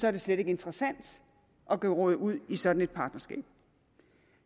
er det slet ikke interessant at geråde ud i sådan et partnerskab